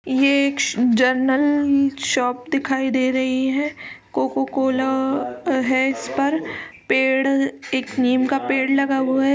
ये एक general shop दिखाई दे रही हैं। कोका-कोला है इस पर पेड़ एक नीम का पेड़ लगा हुआ है।